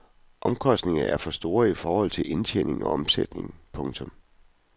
Omkostningerne er alt for store i forhold til indtjening og omsætning. punktum